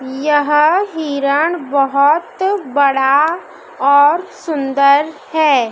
यह हिरण बहोत बड़ा और सुंदर है।